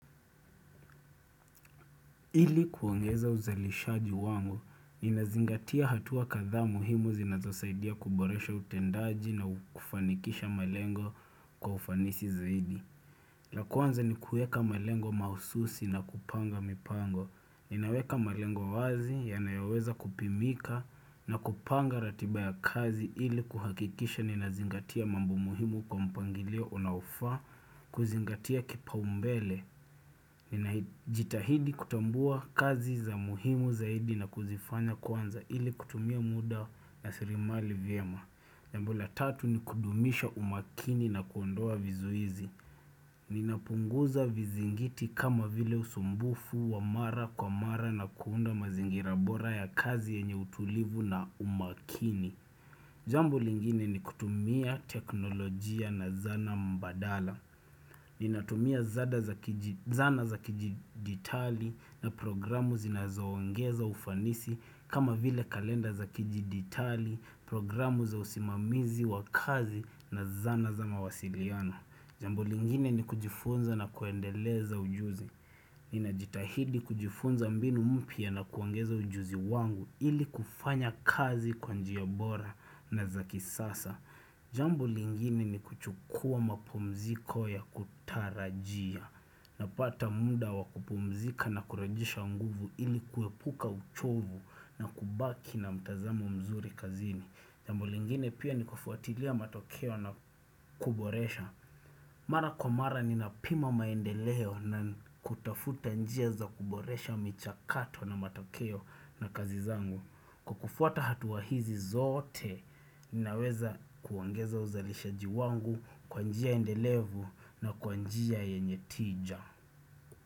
Ili kuongeza uzalishaji wangu, nina zingatia hatua kadhaa muhimu zinazosaidia kuboresha utendaji na kufanikisha malengo kwa ufanisi zaidi. La kwanza ni kuweka malengo mahususi na kupanga mipango. Ninaweka malengo wazi ya nayoweza kupimika na kupanga ratiba ya kazi ili kuhakikisha nina zingatia mambo muhimu kwa mpangilio unao faa kuzingatia kipa umbele. Nina jitahidi kutambua kazi za umuhimu zaidi na kuzifanya kwanza ili kutumia muda na sirimali vyema Jambo la tatu ni kudumisha umakini na kuondoa vizuizi Ninapunguza vizingiti kama vile usumbufu wa mara kwa mara na kuunda mazingira bora ya kazi yenye utulivu na umakini Jambo lingine ni kutumia teknolojia na zana mbadala Ninatumia zana za kijiditali na programu zinazoangeza ufanisi kama vile kalenda za kijiditali, programu za usimamizi wa kazi na zana za mawasiliano Jambo lingine ni kujifunza na kuendeleza ujuzi Ninajitahidi kujifunza mbinu mpya na kuongeza ujuzi wangu ili kufanya kazi kwa njiyabora na za kisasa Jambo lingini ni kuchukua mapumziko ya kutarajia Napata munda wakupumzika na kurejesha nguvu ili kuepuka uchovu na kubaki na mtazamo mzuri kazini Jambo lingini pia ni kufuatilia matokeo na kuboresha Mara kwa mara ni napima maendeleo na kutafuta njia za kuboresha micha kato na matokeo na kazizangu Kwa kufuata hatuwa hizi zote, ninaweza kuangeza uzalisha jiwangu kwanjia endelevu na kwanjia yenye tija.